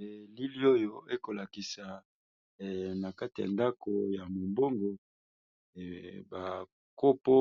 elili oyo ekolakisa na kati ya ndako ya mobongo bankopo